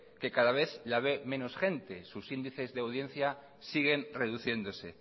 que cada vez la ve menos gente sus índices de audiencia siguen reduciéndose